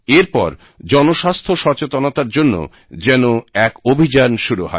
এর পর জনস্বাস্থ্য সচেতনতার জন্য যেন এক অভিযান শুরু হয়